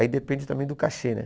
Aí depende também do cachê, né?